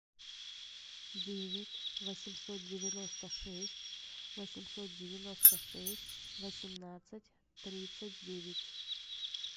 девять восемьсот девяносто шесть восемьсот девяносто шесть восемнадцать тридцать девять